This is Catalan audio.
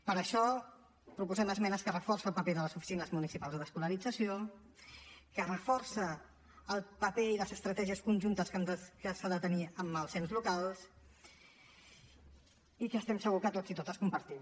per això proposem esmenes que reforcen el paper de les oficines municipals d’escolarització que reforcen el paper i les estratègies conjuntes que s’han de tenir amb els ens locals i que estem segurs que tots i totes compartim